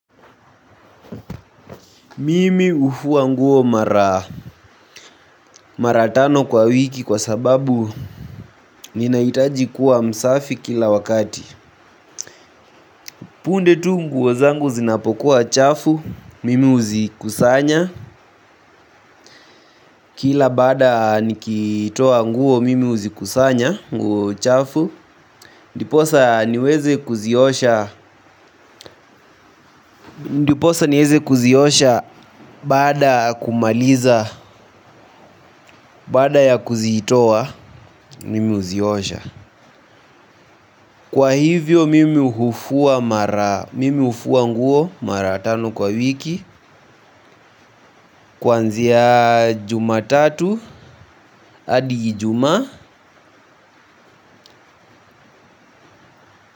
Mimi hufua nguo mara tano kwa wiki kwa sababu ninahitaji kuwa msafi kila wakati. Punde tu nguo zangu zinapokuwa chafu, mimi huzikusanya. Kila baada nikitoa nguo mimi huzikusanya, nguo chafu. Ndiposa niweze kuziosha baada ya kumaliza, baada ya kuzitoa, mimi huziosha. Kwa hivyo mimi hufua nguo mara tano kwa wiki. Kwanzia jumatatu hadi ijumaa.